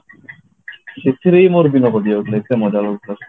ସେଥିରେ ହି ମୋର ଦିନ କଟିଯାଉଥିଲା ଏତେ ମଜା ଲାଗୁଥିଲା